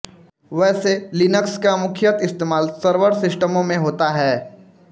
वैसे लिनक्स का मुख्यत इस्तेमाल सर्वर सिस्टमों में होता है